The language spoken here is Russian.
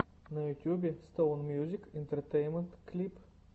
на ютюбе стоун мьюзик энтертейнмент клип